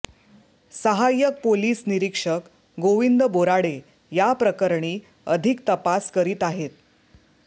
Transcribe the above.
सहाय्यक पोलिस निरीक्षक गोविंद बोराडे याप्रकरणी अधिक तपास करीत आहेत